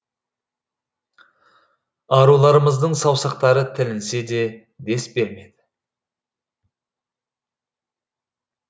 аруларымыздың саусақтары тілінсе де дес бермеді